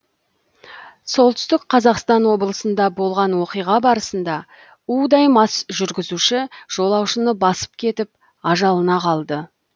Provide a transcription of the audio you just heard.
сқо да болған оқиға барысында удай мас жүргізуші жолаушыны басып кетіп ажалына қалды